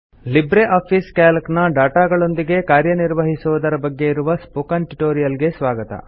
Libre Office Calc ನ ಡಾಟಾಗಳೊಂದಿಗೆ ಕಾರ್ಯ ನಿರ್ವಹಿಸುವುದರ ಬಗ್ಗೆ ಇರುವ ಸ್ಪೋಕನ್ ಟ್ಯುಟೋರಿಯಲ್ ಗೆ ಸ್ವಾಗತ